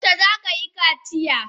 Yaushe za ka yi kaciya?